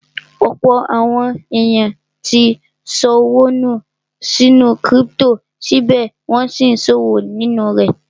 Ọ̀pọ̀ àwọn èèyàn tí ṣọwọ́ nù sínú kírípítò, síbẹ̀ wọ́n n sí ṣòwò nínú rẹ̀